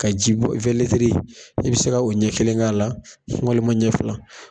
Ka ji bɔ i be se ka o ɲɛ kelen k'a la, walima ɲɛ fila.